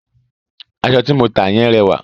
Aṣọ ti mo ta yẹn rẹwà.